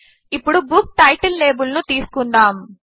ఇప్పుడు book title label ను తీసుకుందాము